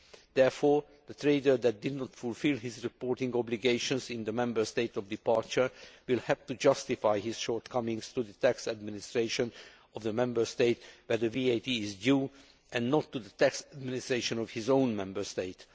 Therefore, a trader who has not fulfilled his reporting obligations in the Member State of departure will have to justify his shortcomings to the tax administration of the Member State where the VAT is due and not to the tax administration of his own Member State.